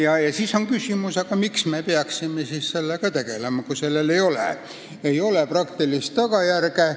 Aga siis on küsimus, miks me peaksime sellega tegelema, kui sellel ei ole praktilist tagajärge.